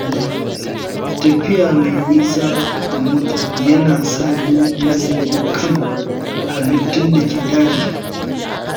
Tafiya mai nisa a mota yana sa ni nazari kan halittun da ke daji